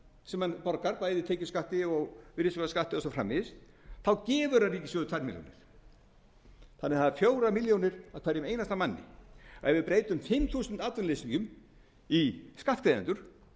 sem hann borgar bæði tekjuskatti virðisaukaskatti og svo framvegis þá gefur hann ríkissjóði tvær milljónir þannig að það eru fjórar milljónir á hverjum einasta manni ef við breytum fimm þúsund atvinnuleysingjum í skattgreiðendur